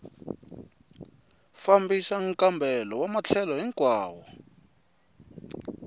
fambisa nkambelo wa matlhelo hinkwawo